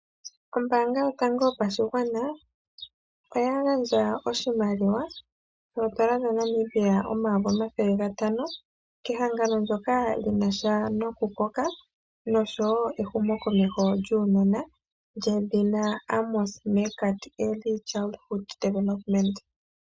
Ombanga yotango yopashigwana oya gandja oshimaliwa shoondola dhaNamibia omayovi omathele gatano kehangano ndyoka lyinasha nokukoka nosho woo ehumo komeho lyuunona lyedhina Amos Meerkat.